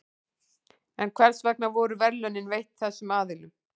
en hvers vegna voru verðlaunin veitt þessum aðilum